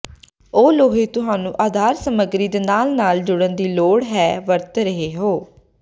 ਉਹ ਲੋਹੇ ਤੁਹਾਨੂੰ ਆਧਾਰ ਸਮੱਗਰੀ ਦੇ ਨਾਲ ਨਾਲ ਜੁੜਨ ਦੀ ਲੋੜ ਹੈ ਵਰਤ ਰਹੇ ਹੋ